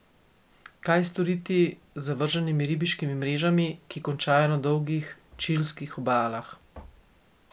Kaj storiti z zavrženimi ribiškimi mrežami, ki končajo na dolgih čilskih obalah?